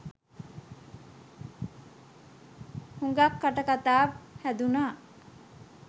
හුගක් කටකතා හැදුනා.